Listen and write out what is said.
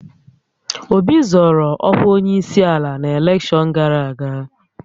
Obi zọọrọ ọkwa onyeisiala na elekshọn gara aga.